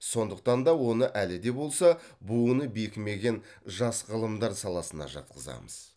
сондықтан да оны әлі де болса буыны бекімеген жас ғылымдар саласына жатқызамыз